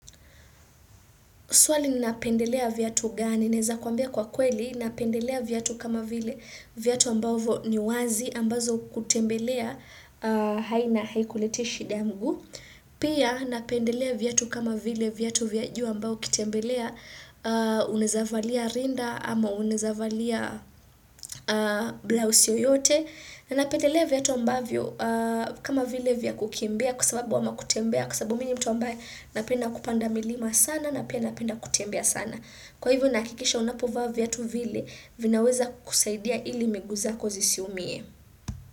Swali ni napendelea viatu gani. Naweza kuambia kwa kweli, napendelea viatu kama vile viatu ambavyo ni wazi ambazo kutembelea haina haikuletei shida ya mguu. Pia napendelea viatu kama vile viatu vya juu ambayo ukitembelea unaweza valia rinda ama unaweza valia blouse yoyote. Na napendelea viatu ambavyo kama vile vya kukimbia kwa sababu ama kutembea kwa sababu mimi ni mtu ambaye napenda kupanda milima sana na pia napenda kutembea sana. Kwa hivyo nahakikisha unapovaa viatu vile vinaweza kukusaidia ili miguu zako zisiumie.